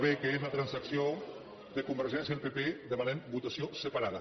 b que és la transacció de convergència al pp demanem votació separada